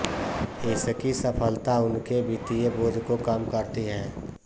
इसकी सफलता उनके वित्तीय बोझ को कम करती है